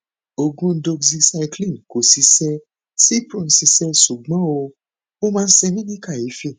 oògùn doxycycline kò ṣiṣẹ cipro ṣiṣẹ ṣùgbọn ó máa ń ṣe mí ní kàyéfì